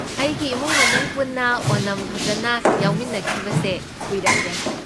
ꯑꯩꯒꯤ ꯏꯃꯨꯡ ꯃꯅꯨꯡ ꯄꯨꯟꯅ ꯑꯣꯅꯝ ꯐꯖꯟꯅ ꯌꯥꯎꯃꯤꯟꯅꯈꯤꯕꯁꯦ ꯀꯨꯏꯔꯛꯂꯦ꯫